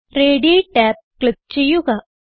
റേഡി tab click ചെയ്യുക